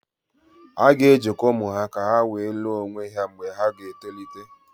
A ga-ejikọ ụmụ ha ka ha wee lụọ onwe ha mgbe ha ga-etolite